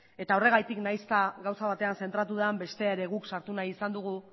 eta horregatik nahiz eta gauza batean zentratu den bestea ere guk sartu nahi izan dugu